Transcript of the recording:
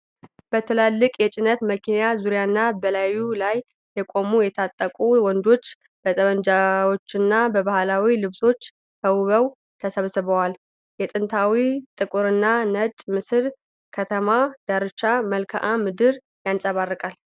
በትላልቅ የጭነት መኪና ዙሪያና በላዩ ላይ የቆሙ የታጠቁ ወንዶች በጠመንጃዎችና በባህላዊ ልብሶች ተውበው ተሰብስበዋል። የጥንታዊው ጥቁርና ነጭ ምስል፣ የከተማ ዳርቻን መልክዓ ምድር ያንፀባርቃል።